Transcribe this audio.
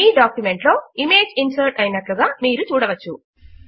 మీ document లో image insert అయినట్లుగా మీరు చూడవచ్చు